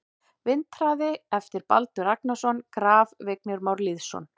Vindhraði eftir Baldur Ragnarsson Graf: Vignir Már Lýðsson